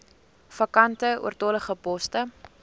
vakante oortollige poste